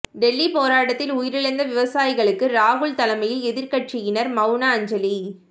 டெல்லி போராட்டத்தில் உயிரிழந்த விவசாயிகளுக்கு ராகுல் தலைமையில் எதிர்கட்சியினர் மவுன அஞ்சலி